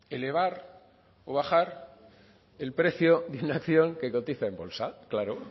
elevar o bajar el precio de una acción que cotiza en bolsa claro